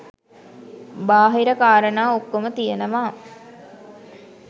බාහිර කාරණා ඔක්කොම තියෙනවා